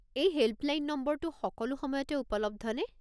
এই হেল্পলাইন নম্বৰটো সকলো সময়তে উপলব্ধ নে?